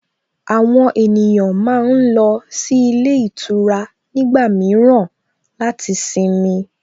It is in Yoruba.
Àwọn ènìyàn máa ń lọ sí ilé ìtura nígbà mìíràn láti sinmi